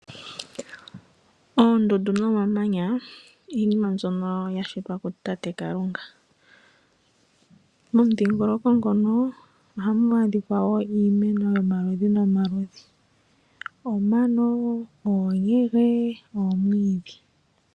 Oondundu nomamanya iinima mbyono yashitwa kutate Kalunga. Momudhingoloko ngono ohamu adhika wo iimeno yomaludhi nomaludhi omano, oonyege, nomwiidhi.